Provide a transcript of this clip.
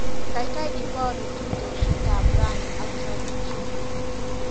Kaikai ibaruu tuitoshekap rani ak chealishe.